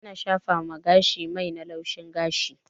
ana shafawa gashi mai na laushin gashi